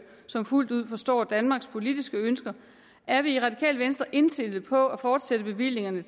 som fuldt ud forstår danmarks politiske ønsker er vi i radikale venstre indstillet på at fortsætte bevillingerne